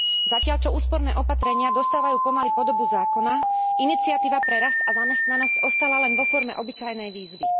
Zatiaľ čo úsporné opatrenia dostávajú pomaly podobu zákona, iniciatíva pre rast a zamestnanosť ostala len vo forme obyčajnej výzvy.